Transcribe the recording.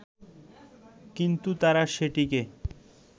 কিন্তু তারা সেটিকে